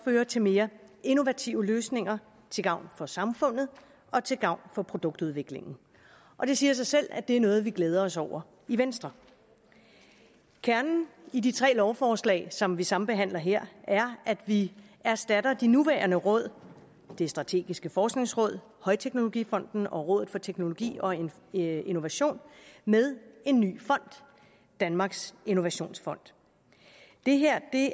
føre til mere innovative løsninger til gavn for samfundet og til gavn for produktudviklingen og det siger sig selv at det er noget vi glæder os over i venstre kernen i de tre lovforslag som vi sambehandler her er at vi erstatter de nuværende råd det strategiske forskningsråd højteknologifonden og rådet for teknologi og innovation med en ny fond danmarks innovationsfond det her